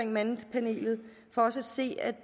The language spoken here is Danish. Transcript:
mandepanelet for os at se er